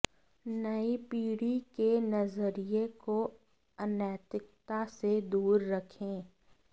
नई पीढ़ी के नजरिए को अनैतिकता से दूर रखें